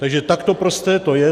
Takže takto prosté to je.